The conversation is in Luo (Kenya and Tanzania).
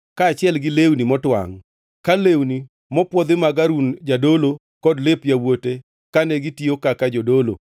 kaachiel gi lewni motwangʼ, ka lewni mopwodhi mag Harun jadolo kod lep yawuote kane gitiyo kaka jodolo;